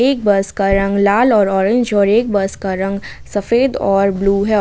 एक बस का रंग लाल और ऑरेंज और एक बस का रंग सफेद और ब्लू है।